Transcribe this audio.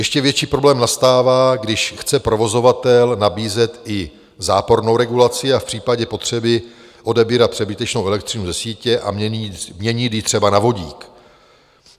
Ještě větší problém nastává, když chce provozovatel nabízet i zápornou regulaci a v případě potřeby odebírat přebytečnou elektřinu ze sítě a měnit ji třeba na vodík.